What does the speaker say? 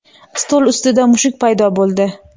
stol ustida mushuk paydo bo‘ldi.